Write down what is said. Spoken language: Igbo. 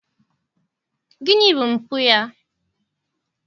Gịnị bụ mpụ ya?